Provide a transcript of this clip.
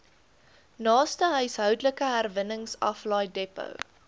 naaste huishoudelike herwinningsaflaaidepot